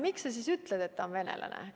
Miks sa siis ütled, et ta on venelane?